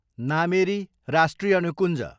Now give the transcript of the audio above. नामेरी राष्ट्रिय निकुञ्ज